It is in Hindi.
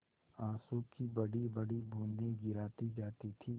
आँसू की बड़ीबड़ी बूँदें गिराती जाती थी